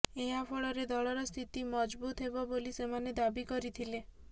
ଏହାଫଳରେ ଦଳର ସ୍ଥିତି ମଜଭୁତ ହେବ ବୋଲି ସେମାନେ ଦାବି କରିଥିଲେ